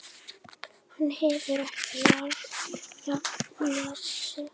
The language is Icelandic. Varð þess oft vart síðan.